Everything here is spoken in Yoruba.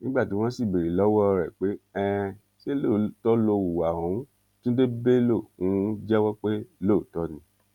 nígbà tí wọn sì béèrè lọwọ ẹ pé um ṣé lóòótọ ló hùwà ohun túnde bello um jẹwọ pé lóòótọ ni